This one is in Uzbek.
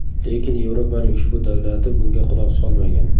Lekin Yevropaning ushbu davlati bunga quloq solmagan.